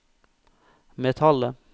metallet